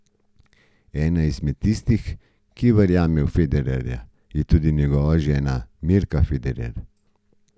Ena izmed tistih, ki verjame v Federerja, je tudi njegova žena Mirka Federer.